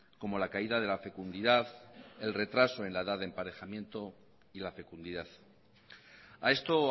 como la caída de la fecundidad el retraso en la edad del emparejamiento y la fecundidad a esto